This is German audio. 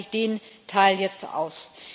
Deswegen lasse ich den Teil jetzt aus.